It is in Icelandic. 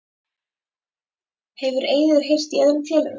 Hefur Eiður heyrt í öðrum félögum?